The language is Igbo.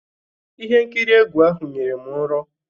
Ihe nkiri egwu ahụ nyere m nrọ nrọ.